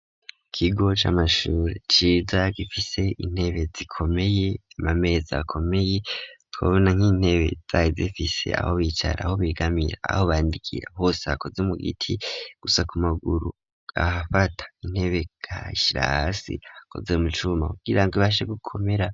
Ikigoca amashuri ciza gifise intebe zikomeye amamezi akomeye twabona nk'intebe zaye zifise aho bicara aho bigamira aho bandikira hose hakoze mu giti gusa ku maguru ahafata intebe ka shrasi hakoze umucuma kugira ngo ibashegukomera.